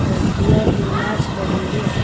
लड़कियां भी नाच रही है।